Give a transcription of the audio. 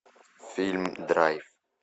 фильм драйв